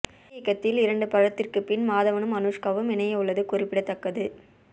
C இயக்கத்தில் இரண்டு படத்திற்கு பின் மாதவனும் அனுஷ்காவும் இணைய உள்ளது குறிப்பிடத்தக்கது